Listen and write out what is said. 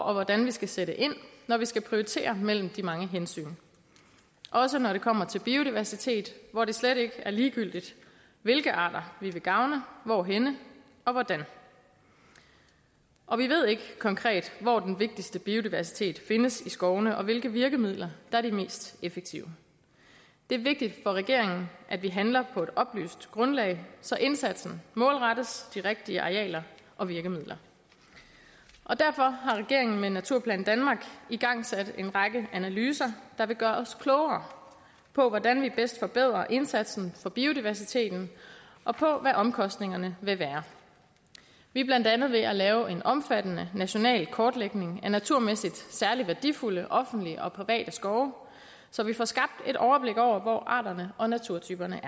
og hvordan vi skal sætte ind når vi skal prioritere mellem de mange hensyn også når det kommer til biodiversitet hvor det slet ikke er ligegyldigt hvilke arter vi vil gavne og hvorhenne og hvordan og vi ved ikke konkret hvor den vigtigste biodiversitet findes i skovene og hvilke virkemidler er de mest effektive det er vigtigt for regeringen at vi handler på et oplyst grundlag så indsatsen målrettes de rigtige arealer og virkemidler derfor har regeringen med naturplan danmark igangsat en række analyser der vil gøre os klogere på hvordan vi bedst forbedrer indsatsen for biodiversiteten og på hvad omkostningerne vil være vi er blandt andet ved at lave en omfattende national kortlægning af naturmæssigt særlig værdifulde offentlige og private skove så vi får skabt et overblik over hvor arterne og naturtyperne